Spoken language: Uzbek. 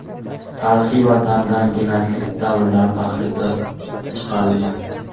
Tarixiy vatanidan genotsid davrlarida haydab chiqarilgan.